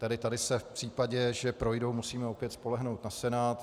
Tedy tady se v případě, že projdou, musíme opět spolehnout na Senát.